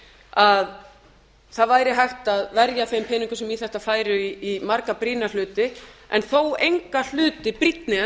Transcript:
að það væri hægt að verja þeim peningum sem í þetta færu í marga brýna hluti en þó enga hluti brýnni en